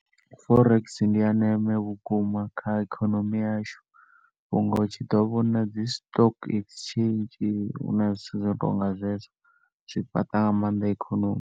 Forex ndi ya ndeme vhukuma kha ikhonomi yashu, unga hu tshi ḓo vhona dzi stock exchange, huna zwithu zwo no tonga zwezwo, zwi fhaṱa nga maanḓa ikhonomi.